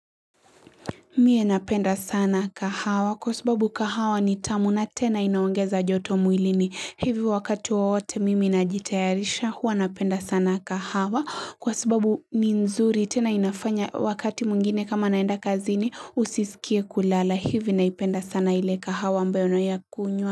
Mie napenda sana kahawa kwa sababu kahawa ni tamu na tena inaongeza joto muilini hivi wakati waote mimi najitayarisha huwa napenda sana kahawa kwa sababu ni nzuri tena inafanya wakati mungine kama naenda kazini usisikie kulala hivi naipenda sana ile kahawa ambao nayakunyua.